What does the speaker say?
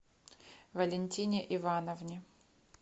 валентине ивановне